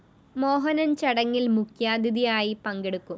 മോഹനന്‍ ചടങ്ങില്‍ മുഖ്യാതിഥിയായി പങ്കെടുക്കും